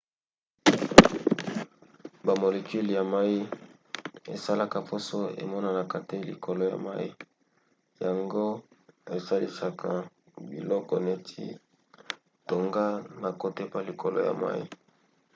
bamolecule ya mai esalaka poso emonanaka te likolo ya mai yango esalisaka biloko neti tonga na kotepa likolo ya mai